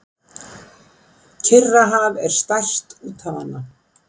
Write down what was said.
Kyrrahaf er stærst úthafanna.